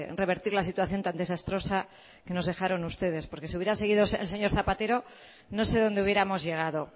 revertir la situación tan desastrosa que nos dejaron ustedes porque si hubiera seguido el señor zapatero no sé dónde hubiéramos llegado